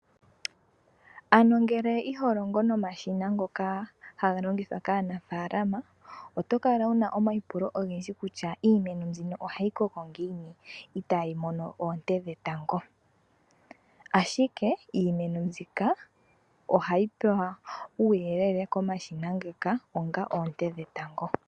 Ngele iho longo nomashina ngoka haga longithwa kaanafaalama oto kala wu na omaipulo ogendji kutya iimeno mbika ohayi koko ngiini itayi mono oonte dhetango, ashike iimeno mbika ohayi pewa uuyelele komashina ngoka onga oonte dhetango.